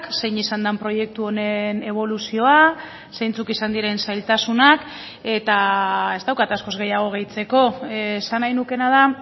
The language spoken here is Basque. zein izan den proiektu honen eboluzioa zeintzuk izan diren zailtasunak eta ez daukat askoz gehiago gehitzeko esan nahi nukeena da